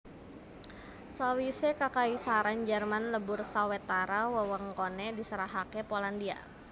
Sawisé Kakaisaran Jerman lebur sawetara wewengkoné diserahaké Polandia